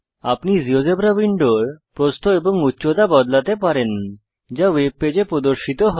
আপনি জীয়োজেব্রা উইন্ডোর প্রস্থ এবং উচ্চতা বদলাতে পারেন যা ওয়েবপেজে প্রদর্শিত হয়